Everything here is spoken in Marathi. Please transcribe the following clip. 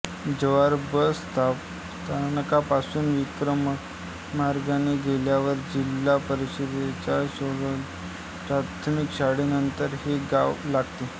जव्हार बस स्थानकापासून विक्रमगड मार्गाने गेल्यावर जिल्हा परिषदेच्या सौरऊर्जिय प्राथमिक शाळेनंतर हे गाव लागते